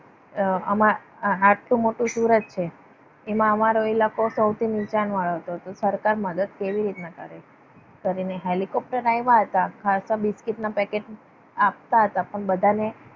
અમ આટલું બધું મોટું સુરત છે. એમાં અમારો ઇલાકો સૌથી નીચાણ વાળો હતો. તો સરકાર મદદ કેવી રીતના કરે કરીને હેલિકોપ્ટર આવ્યા હતા. ખાસા બિસ્કીટના પેકેટ હતા આપતા હતા. પણ બધાને